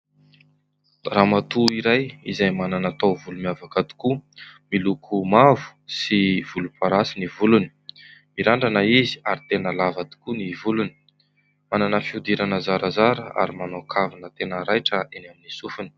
Ramatoa iray izay manana taovolo miavaka tokoa, miloko mavo sy volomparasy ny volony. Mirandrana izy ary tena lava tokoa ny volony ; manana fihodirana zarazara ; ary manao kavina tena raitra eny amin'ny sofiny.